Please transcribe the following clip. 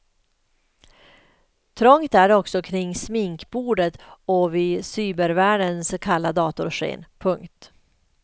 Trångt är det också kring sminkbordet och vid cybervärldens kalla datorsken. punkt